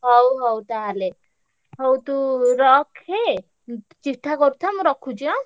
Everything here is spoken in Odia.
ହଉ ହଉ ତାହେଲେ ହଉ ତୁ ରଖେ ଉଁ ଚିଠା କରୁଥା ମୁଁ ରଖୁଛି ଆଁ?